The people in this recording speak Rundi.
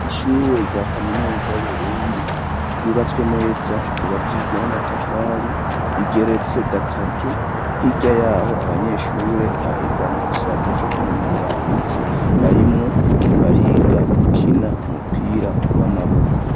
Ishure rya kaminuza y'burundi ryubatswe neza ryubakiijwe n'amatafari igeretse gatatu hirya yaho abanyeshure barega mu gisata co kwinonora imitsi barimwo bariga gukina umupira w'amaboko.